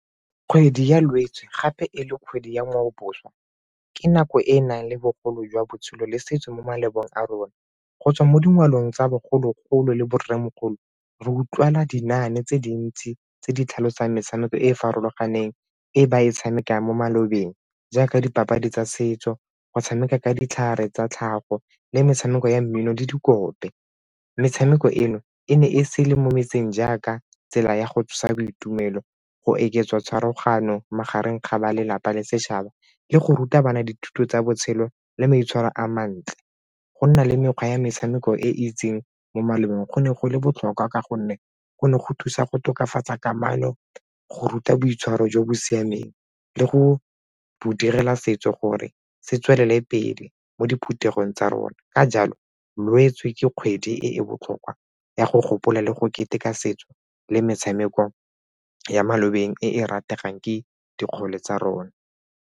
Kgwedi ya Lwetse gape e le kgwedi ya ngwaoboswa, ke nako e e nang le bogole jwa botshelo le setso mo malapeng a rona. Go tswa mo dingwageng tsa bogologolo le bo rremogolo re utlwala dinaane tse dintsi tse di tlhalosang metshameko e e farologaneng e ba e tshamekang mo malobeng jaaka dipapadi tsa setso, go tshameka ka ditlhare tsa tlhago le metshameko ya mmino le dikope. Metshameko eno e ne e se le mo metseng jaaka tsela ya go tsosa boitumelo, go eketsa tshwaragano magareng ga ba lelapa le setšhaba le go ruta bana dithuto tsa botshelo le maitshwaro a mantle. Go nna le mekgwa ya metshameko e itseng mo malobeng go ne go le botlhokwa ka gonne go ne go thusa go tokafatsa kamano go ruta boitshwaro jo bo siameng le go direla setso gore se tswelela ko pele mo diphuthegong tsa rona. Ka jalo Lwetse ke kgwedi e e botlhokwa ya go gopola le go keteka setso le metshameko ya maloba teng e e rategang ke dikgole tsa rona.